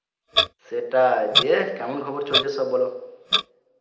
সেটাই দিয়ে কেমন খবর চলছে সব বলো?